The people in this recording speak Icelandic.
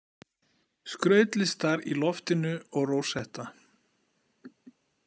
Skrautlistar í loftinu og rósetta.